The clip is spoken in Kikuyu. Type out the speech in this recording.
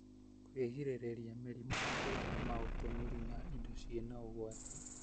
Kwĩgirĩrĩria mĩrimũ na gwĩthemana ũtũmĩri wa indo cĩĩna ũgwati